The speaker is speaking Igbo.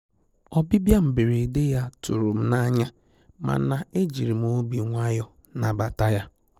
Ọ́bị̀bị̀à mberede yá tụ̀rụ̀ m n'anya, màna ejìrì m obi nwayọ́ọ̀ nàbàtà yá.